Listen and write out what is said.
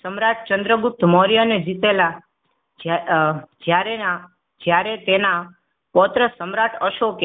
સમ્રાટ ચંદ્રગુપ્ત મૌર્ય ને જીતેલા જ્યાં અ જ્યારે નાજ્યારે તેના પૌત્ર સમ્રાટ અશોક